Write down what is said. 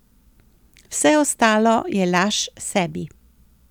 Vse ostalo je laž sebi.